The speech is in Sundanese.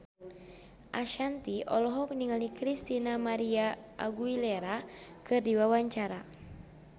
Ashanti olohok ningali Christina María Aguilera keur diwawancara